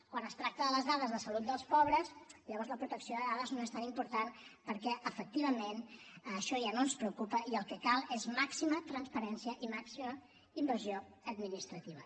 quan es tracta de les dades de salut dels pobres llavors la protecció de dades no és tan important perquè efectivament això ja no ens preocupa i el que cal és màxima transparència i màxima invasió administrativa